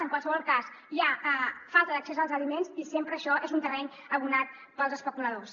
en qualsevol cas hi ha falta d’accés als aliments i sempre això és un terreny adobat per als especuladors